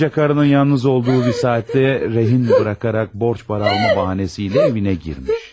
Kocakarının yalnız olduğu bir saatdə rehin buraxarak borç para alma bahanesiylə evinə girmiş.